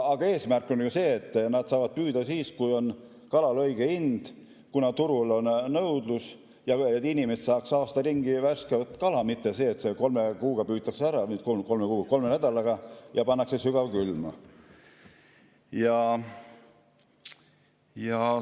Aga eesmärk on ju see, et nad saavad püüda siis, kui kalal on õige hind, turul on nõudlus, ja inimesed saaks aasta ringi värsket kala, mitte nii, et kolme kuuga või kolme nädalaga püütakse ära ja pannakse sügavkülma.